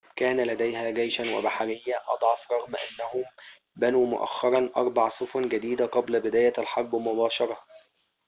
كان لديها جيشًا وبحرية أضعف رغم أنهم بنوا مؤخرًا أربع سفن جديدة قبل بداية الحرب مباشرة